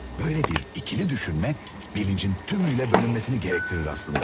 Böyle bir ikili düşünmə bilincin tümüylə bölünmesini gerektirir aslında.